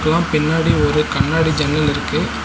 அப்பறோ பின்னாடி ஒரு கண்ணாடி ஜன்னல் இருக்கு.